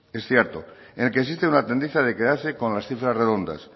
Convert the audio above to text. es cierto en el que existe una tendencia de quedarse con las cifras redondas